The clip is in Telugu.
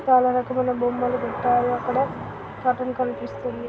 చాల రకమైన బొమ్మలు పెట్టారు అక్కడ కర్టెన్ కనిపిస్తుంది.